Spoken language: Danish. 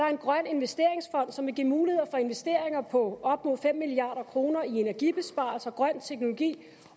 investeringsfond som vil give mulighed for investeringer på op mod fem milliard kroner i energibesparelser grøn teknologi